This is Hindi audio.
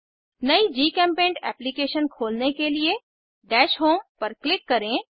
नयी जीचेम्पेंट एप्लीकेशन खोलने के लिए दश होम पर क्लिक करें